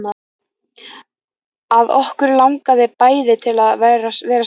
Að okkur langaði bæði til að vera saman.